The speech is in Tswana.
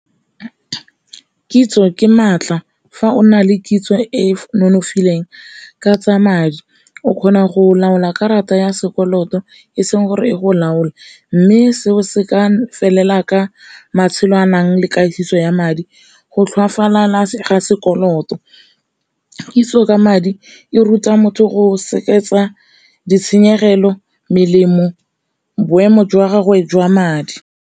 Kitso ke maatla fa o na le kitso e e nonofileng ka tsa madi o kgona go laola karata ya sekoloto e seng gore e go laole, mme seo se ka felela ka matshelo tshwanang le katiso ya madi, go tlhoafala ga sekoloto, kitso ka madi e ruta motho go ditshenyegelo, melemo, boemo jwa gagwe jwa madi.